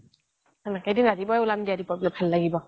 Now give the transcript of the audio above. এদিন ৰাতিপুৱাই ওলাম দিয়া দীপৰ বিললৈ ভাল লাগিব